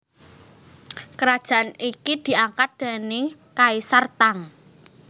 Kerajaan iki diangkat déning Kaisar Tang